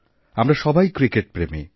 আমরা সবাই ক্রিকেটপ্রেমী